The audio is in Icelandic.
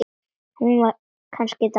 Var hún kannski dáin?